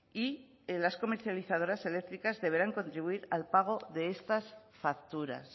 y las comercializadoras eléctricas deberán contribuir al pago de estas facturas